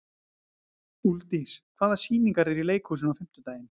Úlfdís, hvaða sýningar eru í leikhúsinu á fimmtudaginn?